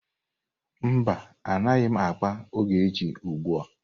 Mba, anaghị m akpa na Ogechi ugbu a.